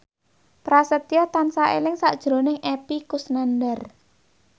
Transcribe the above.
Prasetyo tansah eling sakjroning Epy Kusnandar